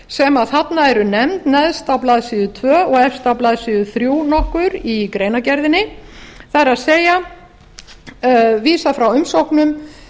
sem þarna eru nefnd neðst á blaðsíðu tvö og efst á blaðsíðu þrjú nokkur í greinargerðinni það er vísað frá umsóknum